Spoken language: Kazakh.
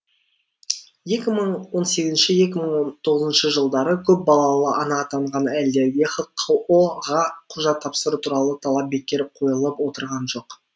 екі мың он сегізінші екі мың он тоғызыншы жылдары көпбалалы ана атанған әйелдерге хқо ға құжат тапсыру туралы талап бекер қойылып отырған жоқ